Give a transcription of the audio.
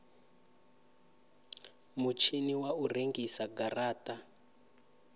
mutshini wa u rengisa garata